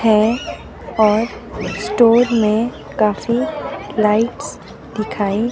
है और स्टोर में काफी लाइट्स दिखाई --